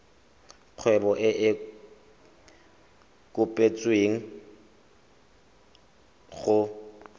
kgwebo e e kopetswengcc go